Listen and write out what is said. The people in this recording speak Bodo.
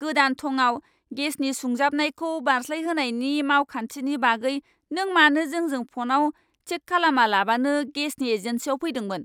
गोदान थंआव गेसनि सुंजाबनायखौ बारस्लायहोनायनि मावखान्थिनि बागै नों मानो जोंजों फ'नआव चेक खालामालाबानो गेसनि एजेन्सिनाव फैदोंमोन?